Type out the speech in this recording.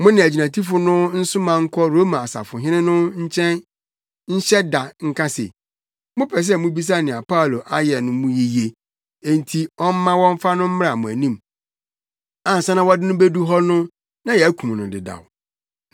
Mo ne agyinatufo no nsoma nkɔ Roma ɔsafohene no nkyɛn nhyɛ da nka se, mopɛ sɛ mubisa nea Paulo ayɛ no mu yiye enti ɔmma wɔmfa no mmra mo anim. Ansa na wɔde no bedu hɔ no na yɛakum no dedaw.”